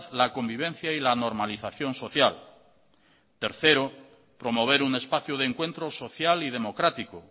la convivencia y la normalización social tercero promover un espacio de encuentro social y democrático